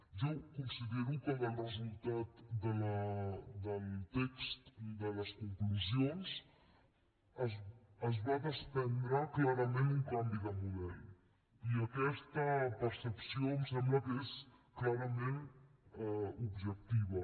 jo considero que del resultat del text de les conclusions es va desprendre clarament un canvi de model i aquesta percepció em sembla que és clarament objectiva